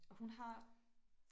Og hun har